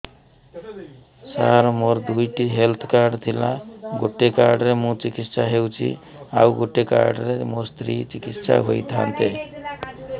ସାର ମୋର ଦୁଇଟି health card ଥିଲା ଗୋଟେ କାର୍ଡ ରେ ମୁଁ ଚିକିତ୍ସା ହେଉଛି ଆଉ ଗୋଟେ କାର୍ଡ ରେ ମୋ ସ୍ତ୍ରୀ ଚିକିତ୍ସା ହୋଇଥାନ୍ତେ